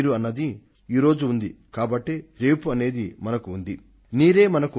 నీరు ఇవాళ ఉంటేనే మనకు రేపు అనేది ఉండగలదు